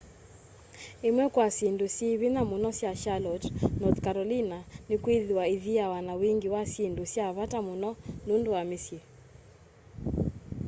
imwe kwa syindu syi vinya muno sya charlotte north carolina ni'kwithiwa ithiawa na wingi wa syindu sya vata muno nundu wa misyi